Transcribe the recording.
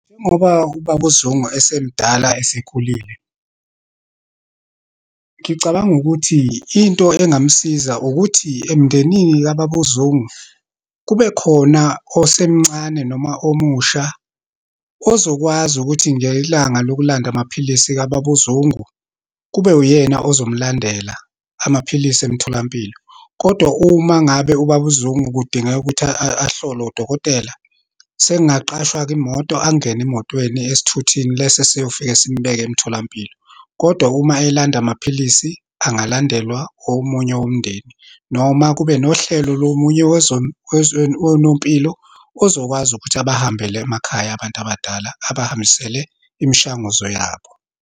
Njengoba uBaba uZungu esemdala, esekhulile, ngicabanga ukuthi into engamsiza ukuthi emndenini kaBaba uZungu, kube khona osemncane noma omusha, ozokwazi ukuthi ngelanga lokulanda amaphilisi kaBaba uZungu, kube uyena ozomlandela amaphilisi emtholampilo. Kodwa uma ngabe uBaba uZungu, kudingeka ukuthi ahlolwe udokotela, sekungaqashwa-ke imoto, angene emotweni, esithuthini leso esiyofika simbeke emtholampilo. Kodwa uma elanda amaphilisi, angalandelwa omunye womndeni, noma kube nohlelo lomunye wonompilo, ozokwazi ukuthi abahambele emakhaya abantu abadala, abahambisele imishanguzo yabo.